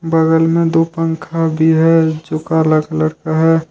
बगल में दो पंखा भी है जो काला कलर का है।